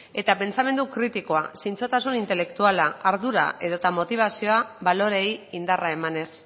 eta pentsamendu kritikoa zintzotasun intelektuala ardura edota motibazioa baloreei indarra emanez